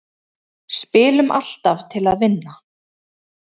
Spilum alltaf til að vinna